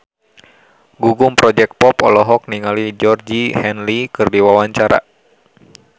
Gugum Project Pop olohok ningali Georgie Henley keur diwawancara